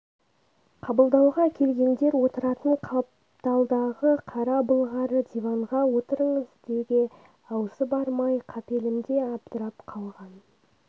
қабылдауға келгендер отыратын қапталдағы қара былғары диванға отырыңыз деуге аузы бармай қапелімде абдырап қалған